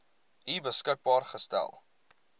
u beskikbaar gestel